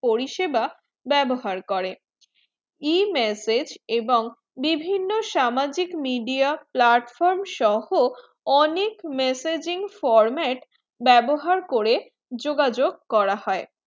পরিষেবা বেবহার করেন e message এবং বিভিন্ন সামাজিক media platform সহ অনেক messaging format বেবহার করে যোগাযোগ করা হয়ে